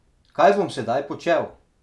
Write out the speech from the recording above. Kaj bom sedaj počel?